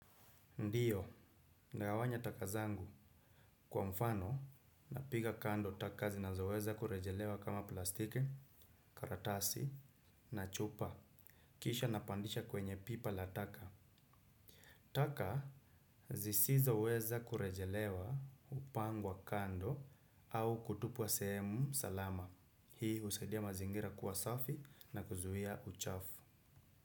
Ndiyo, ndagawanya takazangu. Kwa mfano, napiga kando taka zinazoweza kurejelewa kama plastiki, karatasi, na chupa. Kisha napandisha kwenye pipa la taka. Taka, zisizo weza kurejelewa hupangwa kando au kutupwa sehemu salama. Hii husaidia mazingira kuwa safi na kuzuia uchafu.